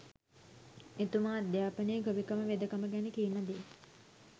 එතුමා අධ්‍යාපනය ගොවිකම වෙදකම ගැන කියන දේ